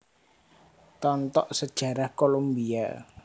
Tontok Sejarah Kolombia